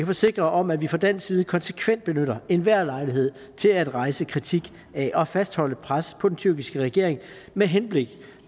forsikre om at vi fra dansk side konsekvent benytter enhver lejlighed til at rejse kritik af og fastholde et pres på den tyrkiske regering med henblik